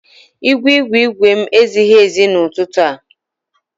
Igwe igwe igwe m ezighi ezi n'ụtụtụ a.